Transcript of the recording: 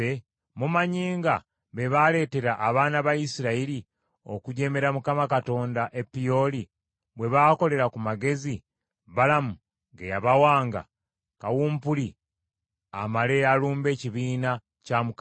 Mumanyi nga be baaleetera abaana ba Isirayiri okujeemera Mukama Katonda e Peoli bwe baakolera ku magezi Balamu ge yabawanga, kawumpuli amale alumbe ekibiina kya Mukama .